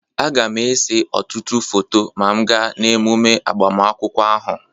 Aga m ese ọtụtụ foto ma m gaa emume agbamakwụkwọ ahụ